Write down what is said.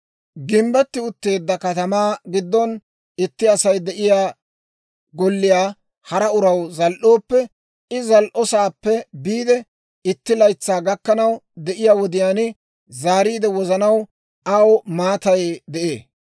« ‹Gimbbetti utteedda katamaa giddon itti Asay de'iyaa golliyaa hara uraw zal"ooppe, I zal"osaappe biide itti laytsaa gakkanaw de'iyaa wodiyaan zaariide wozanaw aw maatay de'ee.